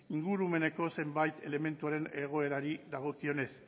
ingurumeneko zenbait elementuaren egoerari dagokionez